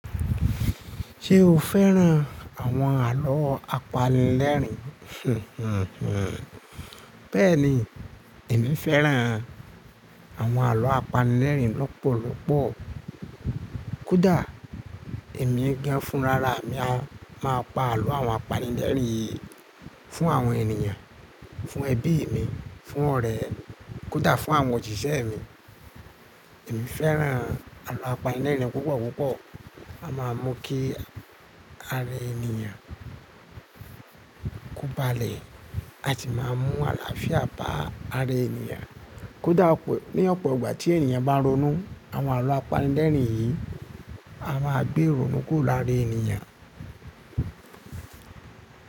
Ṣé o fẹ́ràn àwọn àlọ́ apanilẹ́rìn? Hmm hmm hmm. Bẹ́ẹ̀ni, èmi fẹ́ràn àwọn àlọ́ apanilẹ́rìn lọ́pọ̀lọ́pọ̀. Kódà èmi gan fún rara, èmi a máa pa àlọ́ àwọn apanilẹ́rìn yìí fún àwọn ènìyàn, fún ẹbí mi, fún ọ̀rẹ́, kódà fún àwọn òsíṣẹ́ mi. Èmi fẹ́ràn àlọ́ apanilẹ́rìn púpọ̀púpọ̀. A máa mu kí ara ènìyàn kó balẹ̀, a sì máa mu àlàáfíà ba ara ènìyàn. Kódà ní ọ̀pọ̀ ìgbà tí ènìyàn bá ronú, àwọn àlọ́ apanilẹ́rìn yìí á máa gbé ironú kùro lara ènìyàn.